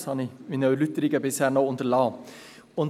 Das habe ich in meinen Erläuterungen bisher noch unterlassen.